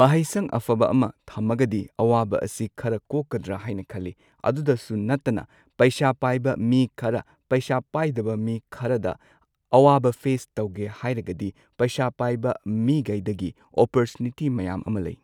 ꯃꯍꯩꯁꯪ ꯑꯐꯕ ꯑꯃ ꯊꯝꯃꯒꯗꯤ ꯑꯋꯥꯕ ꯑꯁꯤ ꯈꯔ ꯀꯣꯛꯀꯗ꯭ꯔꯥ ꯍꯥꯏꯅ ꯈꯜꯂꯤ꯫ ꯑꯗꯨꯗꯁꯨ ꯅꯠꯇꯅ ꯄꯩꯁꯥ ꯄꯥꯏꯕ ꯃꯤ ꯈꯔ ꯄꯩꯁꯥ ꯄꯥꯏꯗꯕ ꯃꯤ ꯈꯔꯗ ꯑꯋꯥꯕ ꯐꯦꯁ ꯇꯧꯒꯦ ꯍꯥꯏꯔꯒꯗꯤ ꯄꯩꯁꯥ ꯄꯥꯏꯕ ꯃꯤꯒꯩꯗꯒꯤ ꯑꯣꯄꯣꯔꯆꯨꯅꯤꯇꯤ ꯃꯌꯥꯝ ꯑꯃ ꯂꯩ꯫